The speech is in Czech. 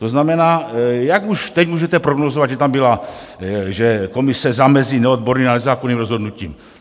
To znamená, jak už teď můžete prognózovat, že tam byla... že komise zamezí neodborné a nezákonné rozhodnutí?